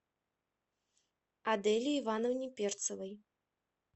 аделе ивановне перцевой